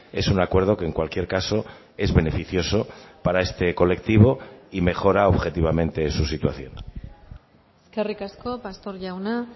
es un acuerdo que en cualquier caso es beneficioso para este colectivo y mejora objetivamente su situación eskerrik asko pastor jauna